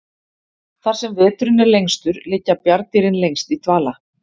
Þar sem veturinn er lengstur liggja bjarndýrin lengst í dvala.